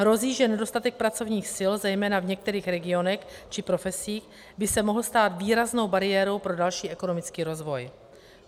Hrozí, že nedostatek pracovních sil zejména v některých regionech či profesích by se mohl stát výraznou bariérou pro další ekonomický rozvoj.